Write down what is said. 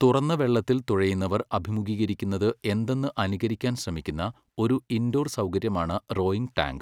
തുറന്ന വെള്ളത്തിൽ തുഴയുന്നവർ അഭിമുഘീകരിക്കുന്നത് എന്തെന്ന് അനുകരിക്കാൻ ശ്രമിക്കുന്ന ഒരു ഇൻഡോർ സൗകര്യമാണ് റോയിംഗ് ടാങ്ക്.